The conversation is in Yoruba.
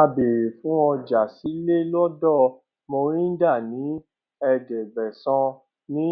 a béèrè fún ọjà sílẹ lọdọ mohinder ní ẹẹdẹgbẹsán ní